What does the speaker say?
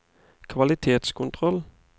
kvalitetskontroll